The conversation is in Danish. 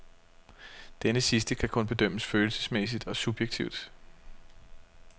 Denne sidste kan kun bedømmes følelsesmæssigt og subjektivt.